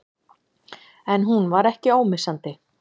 En hún var ekki ómissandi.